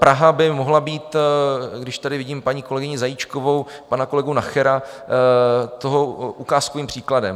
Praha by mohla být - když tady vidím paní kolegyni Zajíčkovou, pana kolegu Nachera - toho ukázkovým příkladem.